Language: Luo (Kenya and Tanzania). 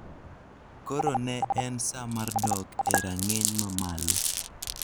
Koro ne en sa mar dok e rang'iny mamalo.